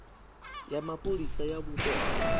ya mapholisa ya vhupo ha